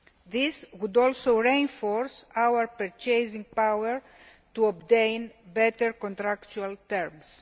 This would also reinforce our purchasing power to obtain better contractual terms.